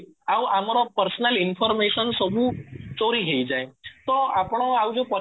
ଆଉ ଆମର personal information ସବୁ ଚୋରି ହେଇଯାଏ ତ ଆପଣ ଆଉ ଯୋଉ